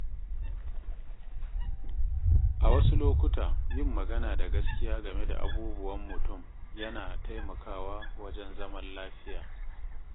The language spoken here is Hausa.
A wasu lokuta, yin magana da gaskiya game da abubuwan mutum yana taimakawa wajen zaman lafiya.